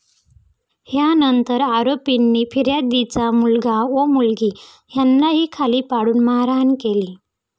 यानंतर आरोपींनी फिर्यादीचा मुलगा व मुलगी यांनाही खाली पाडून मारहाण केली.